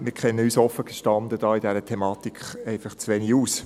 Wir kennen uns offen gestanden in dieser Thematik einfach zu wenig aus.